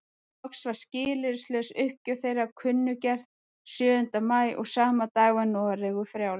Loks var skilyrðislaus uppgjöf þeirra kunngerð sjöunda maí og sama dag var Noregur frjáls.